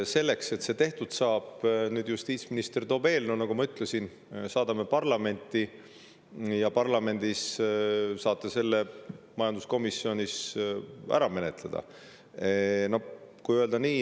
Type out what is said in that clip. Selleks, et see tehtud saaks, toobki justiitsminister nüüd eelnõu, mille, nagu ma ütlesin, me saadame parlamenti ja parlamendi majanduskomisjonis saate te selle ära menetleda.